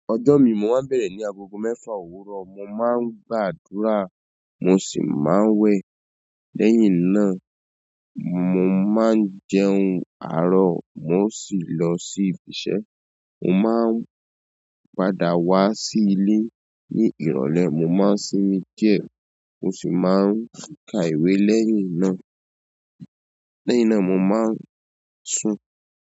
Ọjọ́ mi mo máa ń bẹ̀rẹ̀ ní agogo mẹ́fà òwúrọ̀. Mo máa ń gbàdúrà, mo sì máa ń wẹ̀. Lẹ́yìn náà, mo máa ń jẹun àárọ̀, mo sì lọ sí ibi iṣẹ́. Mo máà ń padà wá sí ilé ní ìrọ̀lẹ́. Mo máa ń sinmi díẹ̀, mo sì máa ń ka ìwé. Lẹ́yìn náà, lẹ́yìn náà mo máa ń sùn.